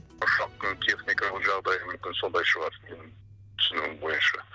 ұшақтың техникалық жағдайы мүмкін сондай шығар түсінуім бойынша